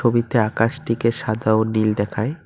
ছবিতে আকাশটিকে সাদা ও নীল দেখায়।